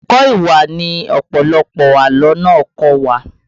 Ẹ̀kọ́ ìwà ni ọ̀pọ̀lọpọ̀ àlọ́ náà kọ́ wa